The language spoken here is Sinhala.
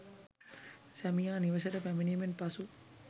සැමියා නිවසට පැමිණීමෙන් පසු